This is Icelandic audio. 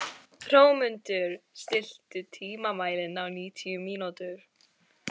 Hrómundur, stilltu tímamælinn á níutíu mínútur.